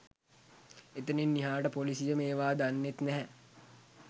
එතනින් එහාට පොලිසිය මේවා දන්නෙත් නැහැ